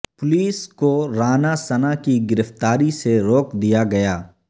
police کو رانا ثناءکی گرفتاری سے روک دیا گیا